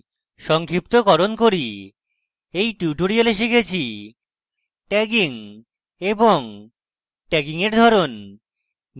সংক্ষিপ্তকরণ করি in tutorial আমরা শিখেছি